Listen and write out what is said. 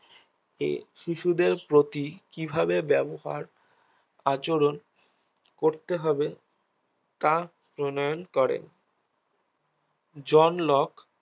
এ শিশুদের প্রতি কিভাবে ব্যবহার আচরণ করতে হবে তা প্রণয়ন করে জন লক